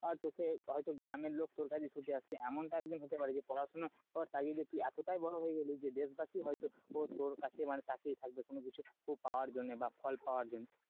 তোকে হয়তো গ্রামের লোক তোর কাছে ছুটে আসবে এমনটা একদিন হতে পারে যে পড়াশোনা করার এতটাই বড় হয়ে গেলি যে দেশবাসী হয়তো তোর কাছে মানে তাকিয়ে থাকবে কোন কিছু পাওয়ার জন্য বা ফল পাওয়ার জন্য,